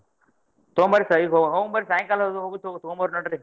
ತೊಂಬರ್ರಿ ಪಾ ಈಗ ಹೊಂಬರ್ರಿ ಸಾಯಂಕಾಲ ಅದು ಹೋಗಿ ತೊಗೊಂಬರ್ರಿ ನೋಡ್ರಿ.